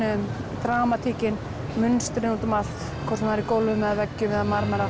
dramatíkin mynstrin út um allt hvort sem það er í gólfum eða veggjum eða marmara